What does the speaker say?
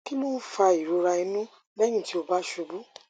kí ló ń fa ìrora inú lẹyìn tí ó bá ṣubú